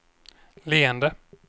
leende